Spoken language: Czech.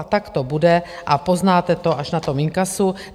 A tak to bude a poznáte to až na tom inkasu.